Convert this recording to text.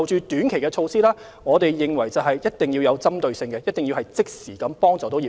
短期措施方面，我們認為一定要有針對性，一定要即時協助業界。